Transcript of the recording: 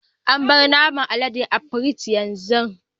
Abar naman aleden a pirig yanzu.